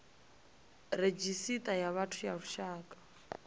redzhisita ya vhathu ya lushaka